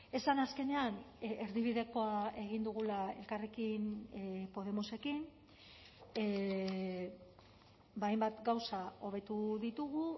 esan azkenean erdibidekoa egin dugula elkarrekin podemosekin hainbat gauza hobetu ditugu